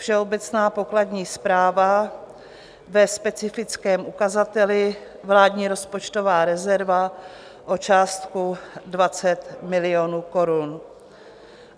Všeobecná pokladní správa ve specifickém ukazateli Vládní rozpočtová rezerva o částku 20 milionů korun.